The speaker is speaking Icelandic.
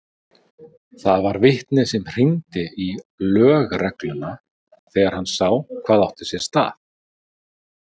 Það var vitni sem hringdi í lögregluna þegar hann sá hvað átti sér stað.